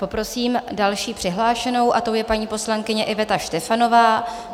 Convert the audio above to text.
Poprosím další přihlášenou, a tou je paní poslankyně Iveta Štefanová.